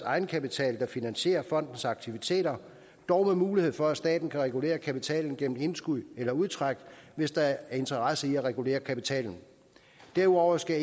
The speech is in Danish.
egenkapital der finansierer fondens aktiviteter dog med mulighed for at staten kan regulere kapitalen gennem indskud eller udtræk hvis der er interesse i at regulere kapitalen derudover skal